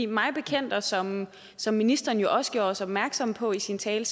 mig bekendt og som som ministeren jo også gjorde os opmærksom på i sin tale